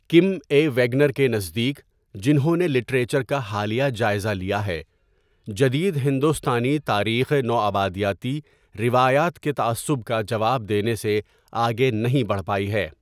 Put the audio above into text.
کِم A Wagner کے نزدیک، جنہوں نے لٹریچر کا حالیہ جائزہ لیا ہے، جدید ہندوستانی تاریخ نوآبادیاتی روایات کے 'تعصب' کا جواب دینے سے آگے نہیں بڑھ پائی ہے۔